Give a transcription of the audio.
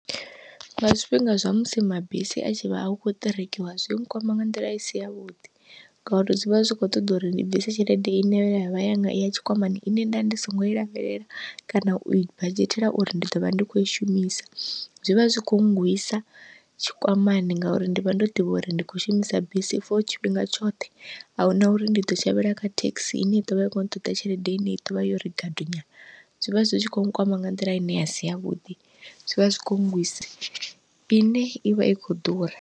Nga zwifhinga zwa musi mabisi a tshi vha hu khou ṱerekiwa zwi nkwama nga nḓila isi yavhuḓi, ngauri zwi vha zwi kho ṱoḓa uri ndi bvise tshelede ine ya vha yanga ya tshikwamani ine nda ndi singo i lavhelela kana ui badzhetela uri ndi ḓovha ndi khou i shumisa, zwivha zwi kho ngwisa tshikwamani. Ngauri ndi vha ndo ḓivha uri ndi khou shumisa bisi for tshifhinga tshoṱhe, ahuna uri ndi ḓo shavhela kha thekhisi ine i ḓovha i kho ṱoḓa tshelede ine i ḓovha yori gadu nyana zwivha zwi tshi kho nkwama nga nḓila ine asi yavhuḓi zwivha zwi kho ngwisa ine i vha i khou ḓura.